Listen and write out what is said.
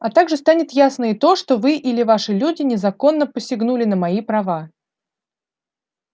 а также станет ясно и то что вы или ваши люди незаконно посягнули на мои права